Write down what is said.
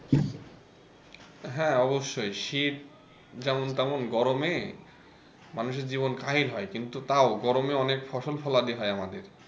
হ্যাঁ অবশ্যই শীত যেমন তেমন গরমে মানুষের জীবন কাহিল হয় কিন্তু তাও গরমে অনেক ফসল ফলাতে হয় আমাদের।